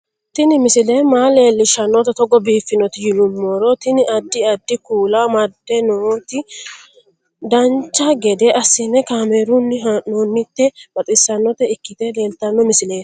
Tini misile maa leellishshannote togo biiffinoti yinummoro tini. addi addi kuula amadde nooti dancha gede assine kaamerunni haa'noonniti baxissannota ikkite leeltanno misileeti